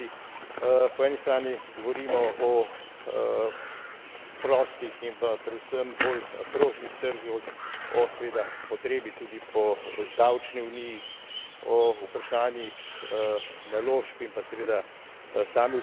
Po eni strani govorimo o prostih in pa predvsem bolj prožnih trgih, o, seveda, potrebi tudi po davčni uniji, o vprašanjih naložb in pa seveda sami vsebini.